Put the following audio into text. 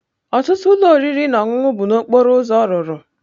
Ọtụtụ ụlọ oriri na ọṅụṅụ bụ n'okporo ụzọ rụrụ.